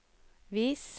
vis